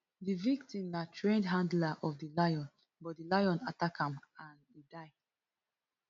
di victim na trained handler of di lion but di lion attack am and e die